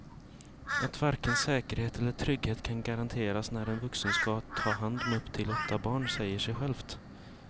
Att varken säkerhet eller trygghet kan garanteras när en vuxen ska ta hand om upp till åtta barn säger sig självt.